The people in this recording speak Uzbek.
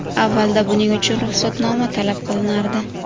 Avvalda buning uchun ruxsatnoma talab qilinardi.